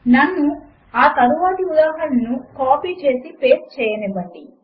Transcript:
నన్ను ఆ తరువాతి ఉదాహరణను కాపీ చేసి పేస్ట్ చేయనివ్వండి